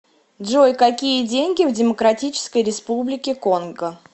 джой какие деньги в демократической республике конго